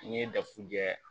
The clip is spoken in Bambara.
N'i ye dafu jɛ